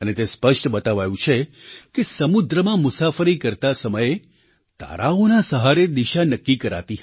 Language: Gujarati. અને તે સ્પષ્ટ બતાવાયું છે કે સમુદ્રમાં મુસાફરી કરતા સમયે તારાઓના સહારે દિશા નક્કી કરાતી હતી